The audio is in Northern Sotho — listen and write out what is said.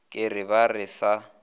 ke re ba re sa